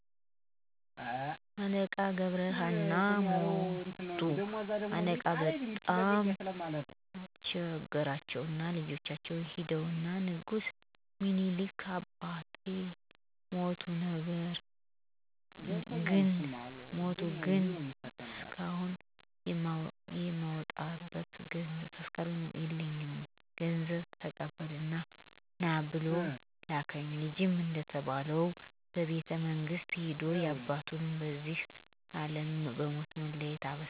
አለቃ ገብረ ሃና ሞቱ አለቃ በጣም ቸገራቸውና ልጃቸውን ሂድና ንጉስ ሚኒሊክን አባቴ ሞቶ ግን ተስካሩን የማወጣበት ገንዘብ የለኝም ብለህ ገንዘብ ተቀብለህ ና ብለው ላኩት። ልጅም እንደተባለው ወደ ቤተመንግስት ሂዶ ያባቱን ከዚህ አለም በሞት መለየት ነግሮ እንደተባለው ገንዘቡን ይጠይቃል። ምኒሊክም እጅግ በጣም አዝነውና አልቅሰው ገንዘቡን ሰጥተው ይልኩታል። አለቃም ችግራቸውን ከተወጡ በኋላ ምኒሊክን ሊያዪ ጉዞ ወደ አ.አ. ያቀናሉ። በቤተመንግስቱም ያያቸው በመገረም እን...ዴ? አለቃ ሞተው አልነበር በማለት እየተገረሙ ለምኒሊክ ሊነግሩ ተጣደፉ። ሚኒሊክም ሲያዩአቸው ገብረሀና ሞተህም አልነበር? ቢሏቸው አለቃም ከሄድኩበት አገር እንደርሶ የሚስማማኝ ንጉስ ባጣ ተመልሼ መጣሁ ብለው ንጉሱን አሳቋቸው አሉ።